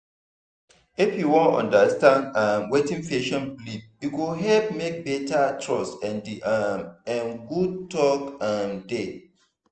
if you understand um wetin patient believe e go help make better trust and [um][um]good talk um dey.